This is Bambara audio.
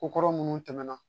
Ko kɔrɔ minnu tɛmɛna